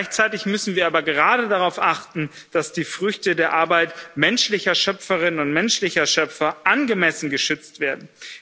Gleichzeitig müssen wir aber gerade darauf achten, dass die Früchte der Arbeit menschlicher Schöpferinnen und menschlicher Schöpfer angemessen geschützt werden.